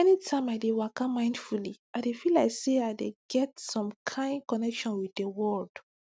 anytime i dey waka mindfully i dey feel like say i dey get some kain connection with di world